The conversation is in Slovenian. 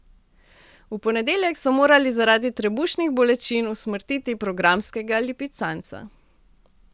V ponedeljek so morali zaradi trebušnih bolečin usmrtiti programskega lipicanca.